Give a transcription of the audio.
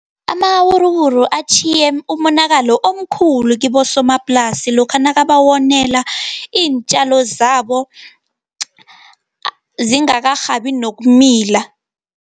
Amawuruwuru atjhiye umonakalo omkhulu kibosomaplasi, lokha nakabawonela iintjalo zabo, zingakarhabi nokumila.